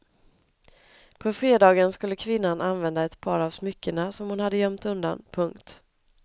På fredagen skulle kvinnan använda ett par av smyckena som hon hade gömt undan. punkt